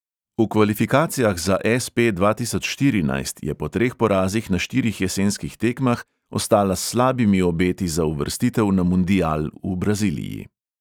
V kvalifikacijah za es|pe dva tisoč štirinajst je po treh porazih na štirih jesenskih tekmah ostala s slabimi obeti za uvrstitev na mundial v braziliji.